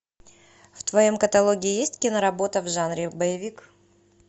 в твоем каталоге есть киноработа в жанре боевик